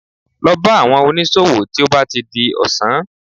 Lọ bá àwọn oníṣòwò tí ó bá ti di ọ̀sán